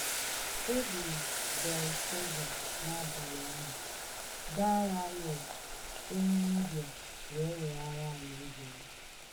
E gburu Belshaza n’abalị ahụ, Daraịọs onye Midia wee weghara alaeze ya.